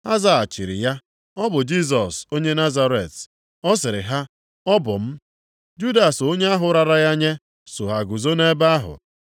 Ha zaghachiri ya, “Ọ bụ Jisọs onye Nazaret.” Ọ sịrị ha, “Ọ bụ m” (Judas onye ahụ rara ya nye so ha guzo nʼebe ahụ.)